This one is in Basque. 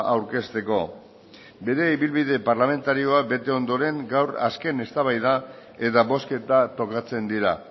aurkezteko bere ibilbide parlamentarioa bete ondoren gaur azken eztabaida eta bozketa tokatzen dira